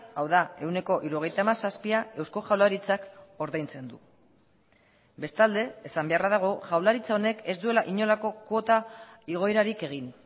hau da ehuneko hirurogeita hamazazpia eusko jaurlaritzak ordaintzen du bestalde esan beharra dago jaurlaritza honek ez duela inolako kuota igoerarik egin